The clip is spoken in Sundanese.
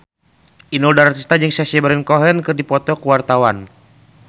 Inul Daratista jeung Sacha Baron Cohen keur dipoto ku wartawan